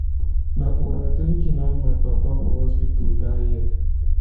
na over drinking land my papa for hospital dat year.